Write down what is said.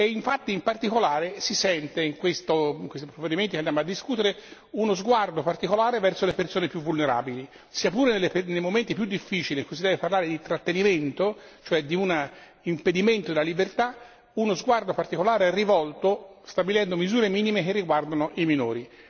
E infatti in particolare, si sente, in questi provvedimenti che andiamo a discutere, uno sguardo particolare verso le persone più vulnerabili, sia pure nei momenti più difficili in cui si deve parlare di trattenimento, cioè di un impedimento della libertà, uno sguardo particolare rivolto stabilendo misure minime che riguardano i minori.